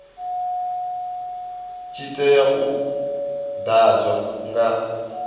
tshi tea u ḓadzwa nga